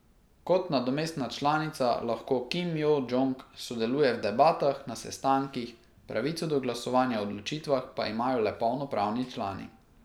Kot nadomestna članica lahko Kim Jo Džong sodeluje v debatah na sestankih, pravico do glasovanja o odločitvah pa imajo le polnopravni člani.